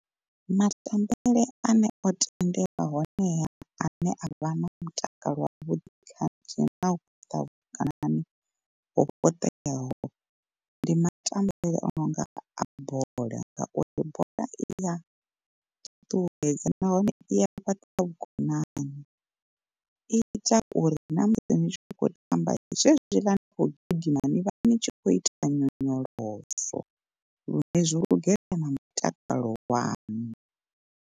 Matambele ane o tendelwa honeha ane avha na mutakalo wa vhuḓi khathihi na u fhaṱa vhukonani ho fhaṱeaho ndi matambele o nonga a bola. Ngauri bola iya ṱuṱuwedza nahone i ya fhaṱa vhukonani, i ita uri na musi ni tshi khou tamba zwezwiḽa ni kho gidima ni vha ni tshi khou ita nyonyoloso lune zwo lugela na mutakalo wanu.